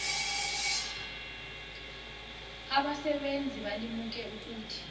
abasebenzi balimuke ukuthi